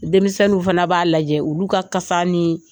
Denmisɛnniw fana b'a lajɛ olu ka kasa ni